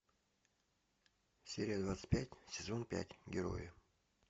серия двадцать пять сезон пять герои